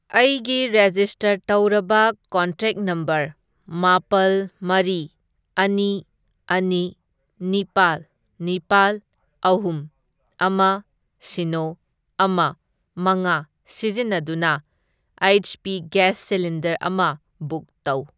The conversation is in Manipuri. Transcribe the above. ꯑꯩꯒꯤ ꯔꯦꯖꯤꯁꯇꯔ ꯇꯧꯔꯕ ꯀꯣꯟꯇꯦꯛ ꯅꯝꯕꯔ, ꯃꯥꯄꯜ, ꯃꯔꯤ, ꯑꯅꯤ, ꯑꯅꯤ, ꯅꯤꯄꯥꯜ, ꯅꯤꯄꯥꯜ, ꯑꯍꯨꯝ, ꯑꯃ, ꯁꯤꯅꯣ, ꯑꯃ, ꯃꯉꯥ ꯁꯤꯖꯤꯟꯅꯗꯨꯅ ꯑꯩꯆ.ꯄꯤ. ꯒꯦꯁ ꯁꯤꯂꯤꯟꯗꯔ ꯑꯃ ꯕꯨꯛ ꯇꯧ꯫